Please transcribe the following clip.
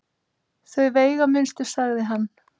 Þau veigaminnstu sagði hann.